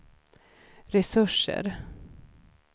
resurser